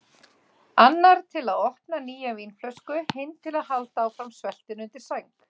Annar til að opna nýja vínflösku, hinn til að halda áfram sveltinu undir sæng.